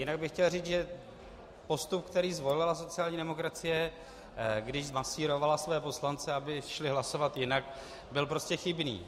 Jinak bych chtěl říci, že postup, který zvolila sociální demokracie, když zmasírovala své poslance, aby šli hlasovat jinak, byl prostě chybný.